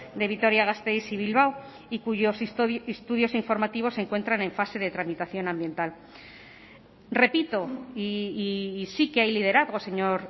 de vitoria gasteiz y bilbao y cuyos estudios informativos se encuentran en fase de tramitación ambiental repito y sí que hay liderazgo señor